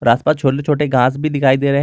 आसपास छोटे छोटे घास भी दिखाई दे रहे हैं।